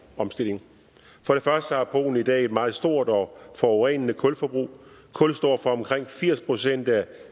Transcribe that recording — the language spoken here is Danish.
omstilling for det første har polen i dag et meget stort og forurenende kulforbrug kul står for omkring firs procent af